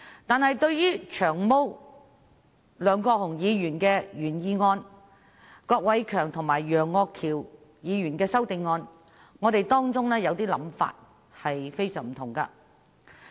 但是，對於梁國雄議員的原議案，以及郭偉强議員和楊岳橋議員的修正案，我們有些想法卻非常不同。